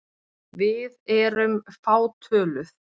Við erum fátöluð.